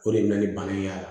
O de bɛ na ni bana in y'a la